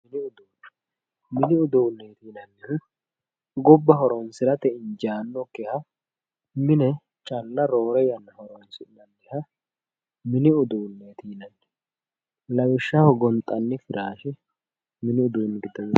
Mini uduunneeti yinanniri gobba horonsirate injaannokkiha mine calla roore yanna horonsi'nanniha mini uduunneeti yinanni lawishshaho gonxanni firaashe mini uduunneeti yinanni